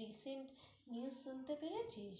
recent news শুনতে পেরেছিস?